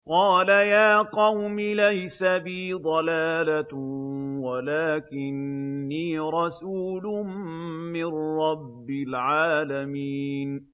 قَالَ يَا قَوْمِ لَيْسَ بِي ضَلَالَةٌ وَلَٰكِنِّي رَسُولٌ مِّن رَّبِّ الْعَالَمِينَ